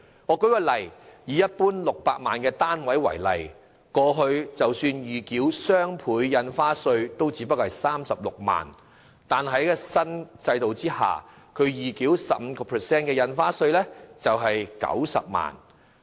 舉例來說，以一般600萬元的單位為例，過去即使預繳雙倍印花稅也只是36萬元，但在新制度下，預繳 15% 印花稅將需費90萬元。